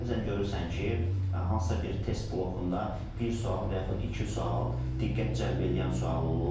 Bəzən görürsən ki, hansısa bir test blokunda bir sual və yaxud iki sual diqqət cəlb eləyən sual olur.